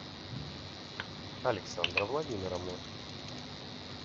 александра владимировна